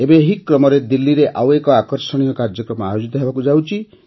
ଏବେ ଏହି କ୍ରମରେ ଦିଲ୍ଲୀରେ ଆଉ ଏକ ଆକର୍ଷଣୀୟ କାର୍ଯ୍ୟକ୍ରମ ଆୟୋଜିତ ହେବାକୁ ଯାଉଛି